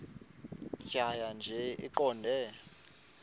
tjhaya nje iqondee